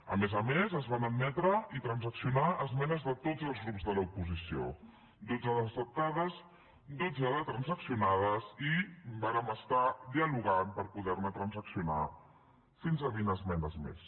a més a més es van admetre i transaccionar esmenes de tots els grups de l’oposició dotze d’acceptades dotze de transaccionades i vàrem estar dialogant per poder ne transaccionar fins a vint esmenes més